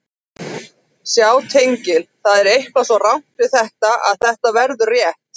Sjá tengil Það er eitthvað svo rangt við þetta að þetta verður rétt.